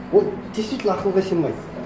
ол действительно ақылға сыймайды